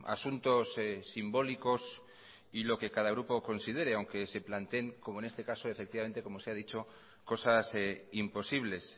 asuntos simbólicos y lo que cada grupo considere aunque se planteen como en este caso como se ha dicho cosas imposibles